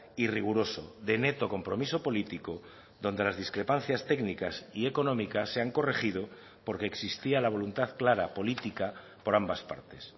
y riguroso de neto compromiso político donde las discrepancias técnicas y económicas se han corregido porque existía la voluntad clara política por ambas partes